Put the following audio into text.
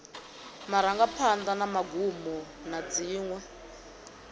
marangaphanḓa na magumo na dziṅwe